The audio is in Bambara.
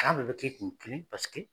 kun kelen paseke